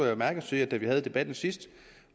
jeg sige at da vi havde debatten sidst